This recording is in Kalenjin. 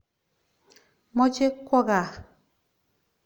Moche kwo kaa.